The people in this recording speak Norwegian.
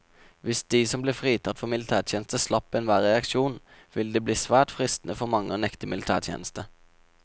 Hvis de som ble fritatt for militærtjeneste slapp enhver reaksjon, ville det bli svært fristende for mange å nekte militætjeneste.